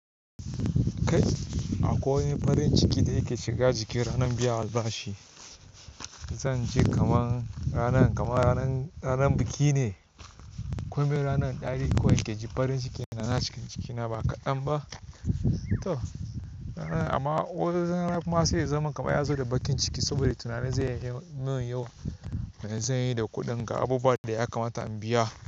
Kai akwai wani farin ciki da ya ke shiga jiki ranar biyan albashi. Zan ji kaman ranan, kaman ranan, ranan biki ne. Komai ranan ɗari kawai na ke ji farin ciki da na shiga cikina ba kaɗan ba. To amma wani rana kuma sai ya zama kamar ya zo da bakin ciki saboda tunanin zai yi min yawa, wanda zan yi da kuɗin ga abubuwan da ya kamata in biya.